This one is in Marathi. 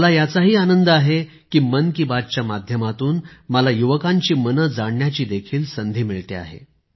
मला याचाही आनंद आहे की मन की बात च्या माध्यमातून मला युवकांचे मन जाणण्याची देखील संधी मिळते आहे